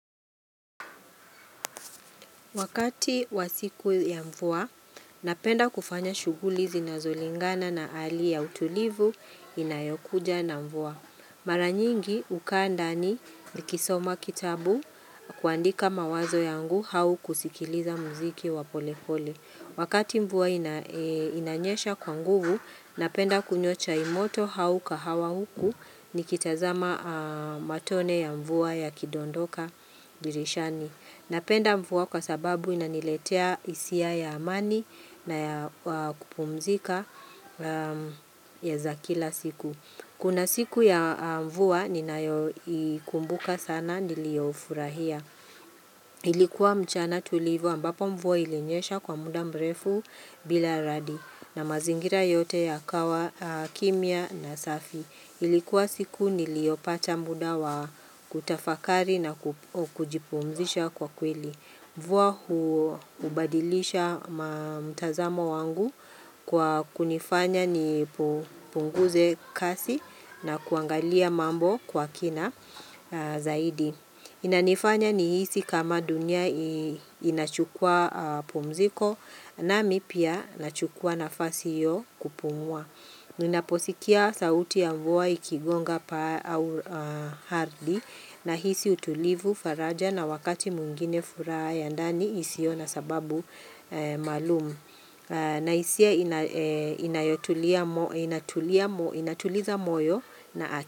Wakati wa siku ya mvua, napenda kufanya shughuli zinazolingana na hali ya utulivu inayokuja na mvua. Mara nyingi hukaa ndani nikisoma kitabu, kuandika mawazo yangu au kusikiliza muziki wa pole pole. Wakati mvua inanyesha kwa nguvu, napenda kunywa chai imoto au kahawa huku nikitazama matone ya mvua yakidondoka dirishani. Napenda mvua kwa sababu inaniletea hisia ya amani na ya kupumzika za kila siku. Kuna siku ya mvua ninayo ikumbuka sana nilio furahia. Ilikuwa mchana tulivu ambapo mvua ilinyesha kwa muda mrefu bila radi na mazingira yote yakawa kimia na safi. Ilikuwa siku niliopata muda wa kutafakari na kujipumzisha kwa kweli. Mvua hubadilisha mtazamo wangu kwa kunifanya ni punguze kasi na kuangalia mambo kwa kina zaidi. Inanifanya nihisi kama dunia inachukua pumziko nami pia nachukua nafasi hio kupumua. Ninaposikia sauti ya mvua ikigonga paa au arthi nahisi utulivu faraja na wakati mwingine furaha ya ndani isio na sababu maalum na hisia inatuliza moyo na aki.